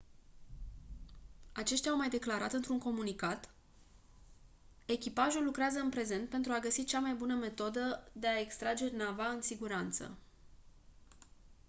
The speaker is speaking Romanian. aceștia au mai declarat într-un comunicat: «echipajul lucrează în prezent pentru a găsi cea mai bună metodă de a extrage nava în siguranță».